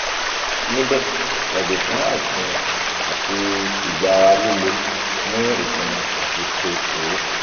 nibe yago fun aisimi ati igbara lile ni isimi ati ṣe suru